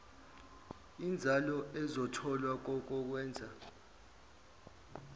inzalo ezotholwa kokokwenza